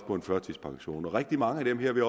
på førtidspension og rigtig mange af dem vil